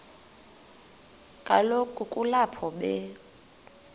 kaloku kulapho be